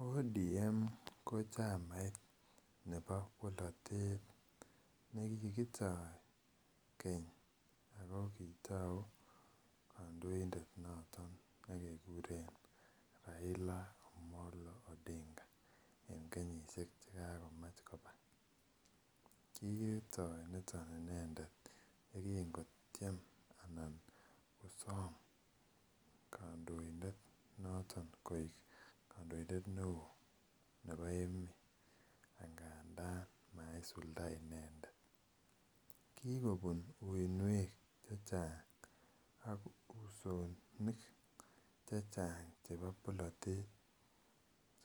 orange democratic union ko chamait nebo polatet nekikitoo keny ako kitauu kandoindet noton nekekuren Raila Omolo Odinga. En kenyisiek chekagomach koba. Kitoi niton inendet yegingo kotieme anan kosam kandoindet noton koek , kandoindet neoo nebo emeet, negimi angadaan maisulda inendet, kikobun uuiniek chechang ak usonik chechang chebo bolatet,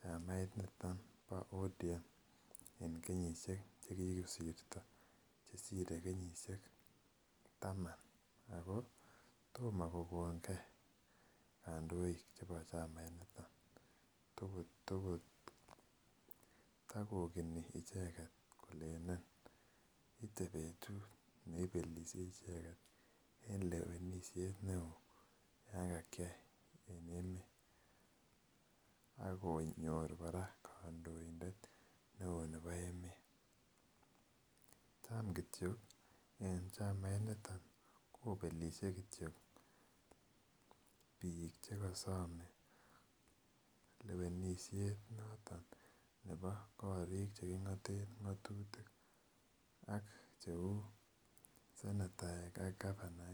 mamait niton bo ODM, en kenyisiek chekisirto, chesire kenyisiek taman Ako toma kokonge kandoik chebo chamait nitet. Takogeni icheket kole nemite en lewenishet neo, Yoon kakyai ako nyor kora kandoindet neo nebo emeet. Tamkotyo en chamait nito kobelishe kityo boisiet noton cheking'oten ng'atutik ak cheuu netai en government